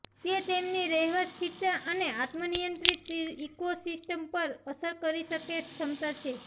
તે તેમની રહેવા સ્થિરતા અને આત્મ નિયંત્રિત ઇકોસિસ્ટમ પર અસર કરી શકે ક્ષમતા છે